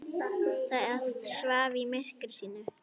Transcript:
Það svaf í myrkri sínu.